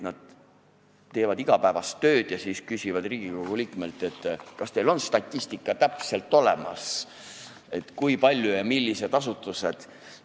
Nad teevad oma igapäevast tööd ja siis küsivad Riigikogu liikmelt, kas on täpne statistika olemas, kui palju on selliseid asutusi ja millised need on.